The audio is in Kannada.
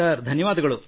ಸರ್ ಧನ್ಯವಾದ ಸರ್